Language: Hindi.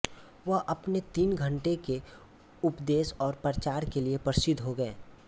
वह अपने तीन घंटे के उपदेश और प्रचार के लिए प्रसिद्ध हो गए